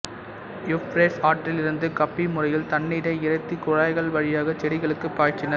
Euphrates ஆற்றிலிருந்து கப்பி முறையில் தண்ணீரை இறைத்து குழாய்கள் வழியாகச் செடிகளுக்குப் பாய்ச்சினர்